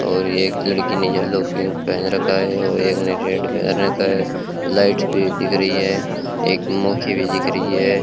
और एक लड़की ने येलो पिंक पहन रखा है और एक ने रेड पहन रखा है लाइट भी दिख रही है एक मौखी भी दिख रही है।